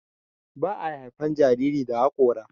Ba a haifan jarirai da hakora.